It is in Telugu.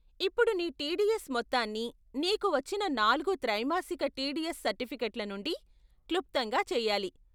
ఇప్పుడు నీ టీడీఎస్ మొత్తాన్ని నీకు వచ్చిన నాలుగు త్రైమాసిక టీడీఎస్ సర్టిఫికెట్ల నుండి క్లుప్తంగా చేయాలి.